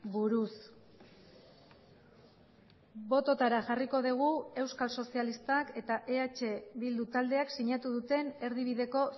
buruz bototara jarriko dugu euskal sozialistak eta eh bildu taldeak sinatu duten erdibideko